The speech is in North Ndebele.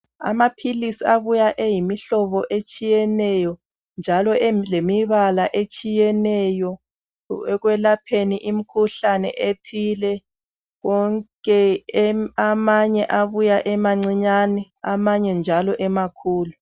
Amaphilisi abuya eyimihlobo etshiyeneyo njalo elemibala etshiyeneyo ekwelapheni imikhuhlane ethile wonke amanye abuya emancinyane amanye njalo emakhulu.